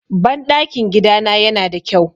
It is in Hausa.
Banɗakin gidana yana da kyau.